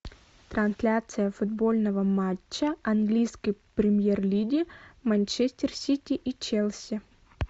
трансляция футбольного матча английской премьер лиги манчестер сити и челси